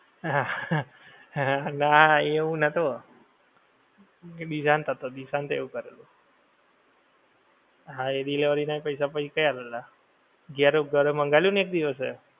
હા એવું ના એવું નતો હતું એ દિશાંત હતો દિશાંત એવું કરેલું હા એ delivery ના પૈસા આપેલા જ્યારે ઘરે મંગાવેલું ને એક દિવસે